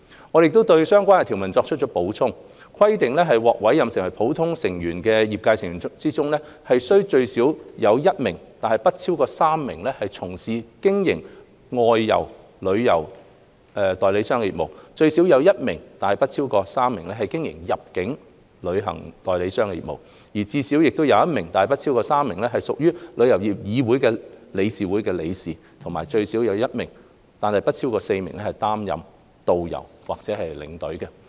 我們亦對相關條文作出了補充，規定獲委任為普通成員的業界成員中，須最少有1名但不超過3名從事經營外遊旅行代理商業務；最少有1名但不超過3名經營入境旅行代理商業務；最少有1名但不超過3名屬香港旅遊業議會理事會的理事；以及最少有1名但不超過4名擔任導遊或領隊。